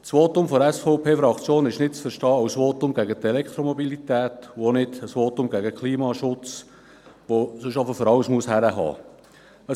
Das Votum der SVP-Fraktion ist nicht als Votum gegen die Elektromobilität oder den Klimaschutz zu verstehen, der für alles herhalten muss.